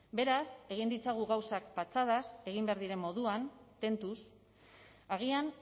beraz egin ditzagun gauzak patxadaz egin behar diren moduan tentuz agian